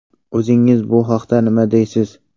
O‘zingiz bu haqda nima deysiz?